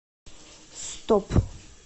стоп